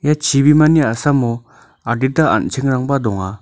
ia chibimani a·samo adita an·chengrangba donga.